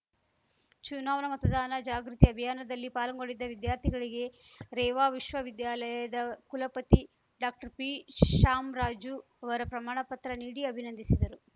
ಚುನಾವಣಾ ಮತದಾನ ಜಾಗೃತಿ ಅಭಿಯಾನದಲ್ಲಿ ಪಾಲ್ಗೊಂಡಿದ್ದ ವಿದ್ಯಾರ್ಥಿಗಳಿಗೆ ರೇವಾ ವಿಶ್ವವಿದ್ಯಾಲಯದ ಕುಲಪತಿ ಡಾಕ್ಟರ್ಪಿಶ್ಯಾಮ್ ರಾಜು ಅವರು ಪ್ರಮಾಣ ಪತ್ರ ನೀಡಿ ಅಭಿನಂದಿಸಿದರು